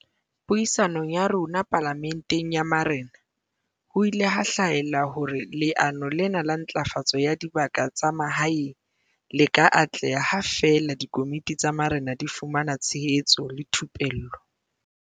Puisanong ya rona Pala menteng ya Marena, ho ile ha hlahella hore leano lena la Ntlafatso ya Dibaka tsa Mahaeng le ka atleha ha feela dikomiti tsa marena di fumana tshehetso le thupello.